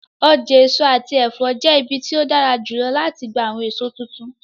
Ọja eso ati ẹfọ jẹ ibi ti o dara julọ lati gba awọn eso tuntun.